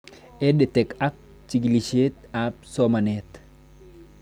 EdTech ak chikilishet ab somanet